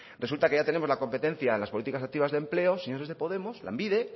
resulta que ya tenemos la competencia en las políticas activas de empleo señores de podemos lanbide